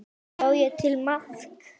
Bjó ég til mark?